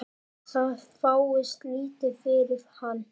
Það fáist lítið fyrir hann.